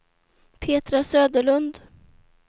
Petra Söderlund